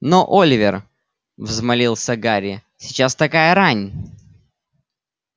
но оливер взмолился гарри сейчас такая рань